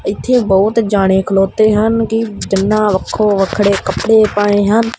ਇਥੇ ਬਹੁਤ ਜਾਣੇ ਖਲੋਤੇ ਹਨ ਕੀ ਜਿੰਨਾ ਵੱਖੋ ਵੱਖਰੇ ਕੱਪੜੇ ਪਾਏ ਹਨ।